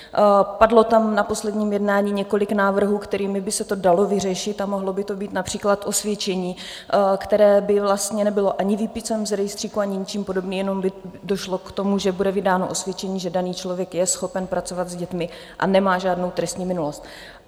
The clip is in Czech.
Padlo tam na posledním jednání několik návrhů, kterými by se to dalo vyřešit, a mohlo by to být například osvědčení, které by vlastně nebylo ani výpisem z rejstříku ani ničím podobným, jenom by došlo k tomu, že bude vydáno osvědčení, že daný člověk je schopen pracovat s dětmi a nemá žádnou trestní minulost.